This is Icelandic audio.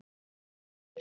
Vera leiður?